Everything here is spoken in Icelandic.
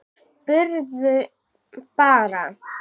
Spurði bara.